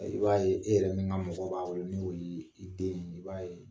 I b'a ye e yɛrɛ min ka mɔgɔ b'a bolo no' i den ye, i b'a ye